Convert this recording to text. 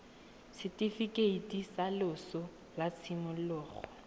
setifikeiti sa loso sa tshimologo